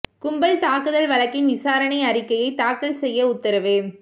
கும்பல் தாக்குதல் வழக்கில் விசாரணை அறிக்கையை தாக்கல் செய்ய உத்தரவு